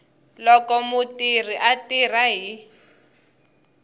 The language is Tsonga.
loko mutirhi a tirha hi